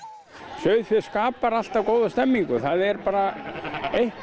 sauðfé skapar alltaf góða stemmingu það er bara eitthvað